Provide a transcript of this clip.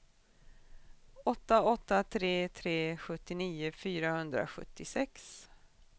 åtta åtta tre tre sjuttionio fyrahundrasjuttiosex